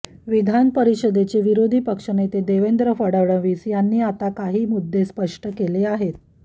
विधान परिषदेचे विरोधी पक्ष नेते देवेंद्र फडणवीस यांनी आता काही मुद्दे स्पष्ट केले आहेत